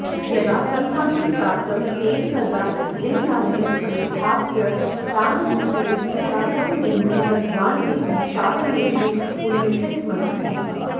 यदा सन्तानं प्राप्तं तेन तदा लिङ्गानि संस्थाप्य दानरूपेण पूजार्थं भूमिं दत्तवान् इति शासनेषु उल्लिखितमस्ति